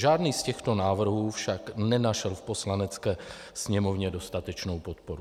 Žádný z těchto návrhů však nenašel v Poslanecké sněmovně dostatečnou podporu.